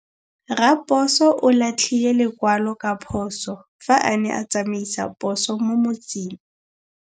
Raposo o latlhie lekwalô ka phosô fa a ne a tsamaisa poso mo motseng.